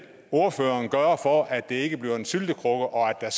ordføreren gøre for at det ikke bliver en syltekrukke og at der